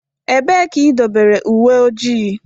Ebee ka idobere uwe ojii?